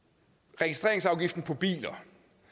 registreringsafgiften på biler